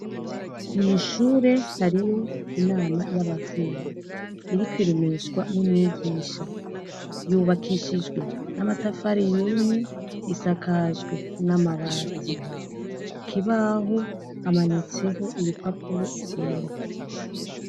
Mw'ishure hariyo inama y'abavyeyi iriko iremeshwa n'umwigisha, yubakishijwe n'amatafari yumye, isakajwe n'amabati, ku kibaho hamanitseho ibipapuro vyera.